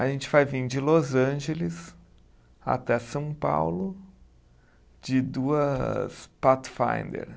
A gente vai vir de Los Angeles até São Paulo de duas Pathfinder.